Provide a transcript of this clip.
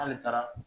K'ale taara